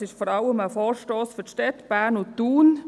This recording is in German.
Es ist vor allem ein Vorstoss für die Städte, für Bern und Thun.